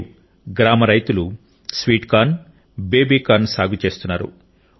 నేడు గ్రామ రైతులు స్వీట్ కార్న్ బేబీ కార్న్ సాగు చేస్తున్నారు